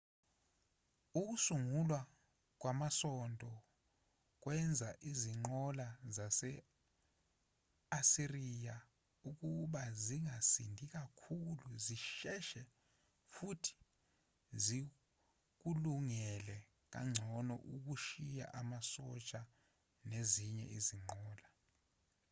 ukusungulwa kwamasondo kwenza izinqola zase-asiriya ukuba zingasindi kakhulu zisheshe futhi zikulungele kangcono ukushiya amasosha nezinye izinqola